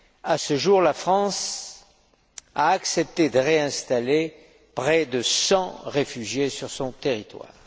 À ce jour, la France a accepté de réinstaller près de 100 réfugiés sur son territoire.